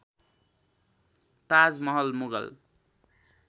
Taj Mahal Mughal